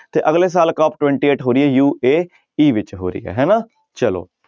ਤੇ ਅਗਲੇ ਸਾਲ ਕੋਪ twenty eight ਹੋ ਰਹੀ ਹੈ UAE ਵਿੱਚ ਹੋ ਰਹੀ ਹੈ ਹਨਾ, ਚਲੋ।